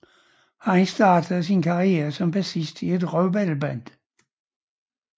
Han startede sin karriere som bassist i et røvbaldeband